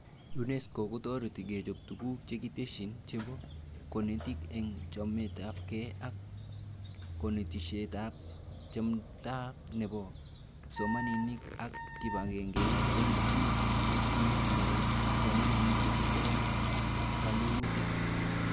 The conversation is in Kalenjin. UNESCO kotoreti kochob tuguk chekikitesyi chebo konetik eng chametabke ak konetishetab chmetabke nebo kipsomanink ak kibagengeit eng tuguk yetunet nebo kipsomanink chetindoi keleutik